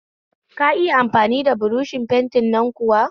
Ka iya amfani buroshi na fenti kuwa?